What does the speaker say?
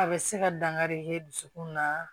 A bɛ se ka dankari kɛ dusukun na